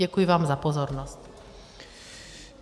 Děkuji vám za pozornost.